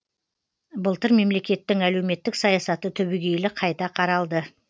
былтыр мемлекеттің әлеуметтік саясаты түбейгелі қайта қаралды